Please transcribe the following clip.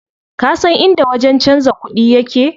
Kasan inda wajen canza kuɗi yake?